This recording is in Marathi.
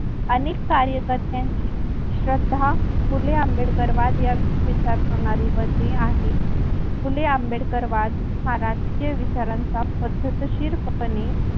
अनेक कार्यकर्त्याची श्रद्धा फुले आंबेडकर वाद या विचार प्रणाली मध्ये आहे. फुले आंबेडकर वाद हा राजकीय विचारांचा पद्धतशीर पणे